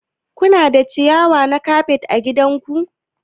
Kuna da ciyawa na kafet ã gidan ku?